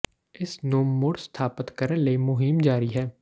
ਇਸ ਨੂੰ ਮੁੜ ਸਥਾਪਤ ਕਰਨ ਲਈ ਮੁਹਿੰਮ ਜਾਰੀ ਹੈ